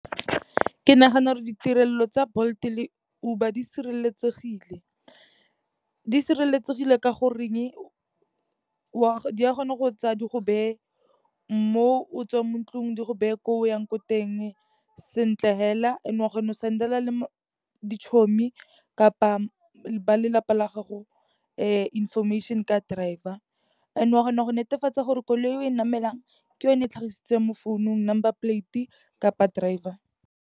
Ke nagana re ditirelo tsa Bolt-e le Uber di sireletsegile. Di sireletsegile ka goreng di a kgona go go tsaya di go beye mo o tswang mo ntlong, di go beye ko o yang ko teng sentle hela. And o a kgone go send-ela le di chommie kapa ba lelapa la gago, information-e ka driver, and o a kgona go netefatsa gore koloi e o e namelang ke yone e tlhagisitsweng mo founung number plate kapa driver.